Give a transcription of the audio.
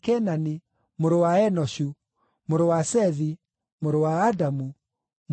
mũrũ wa Enoshu, mũrũ wa Sethi, mũrũ wa Adamu, mũrũ wa Ngai.